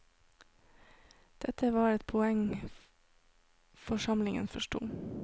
Dette var et poeng forsamlingen forsto.